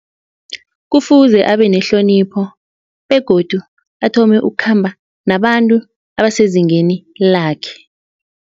Kufuze abe nehlonipho begodu athome ukukhamba nabantu abasezingeni lakhe.